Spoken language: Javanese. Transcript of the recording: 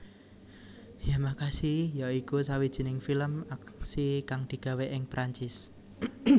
Yamakasi ya iku sawijining film aksi kang digawé ing Perancis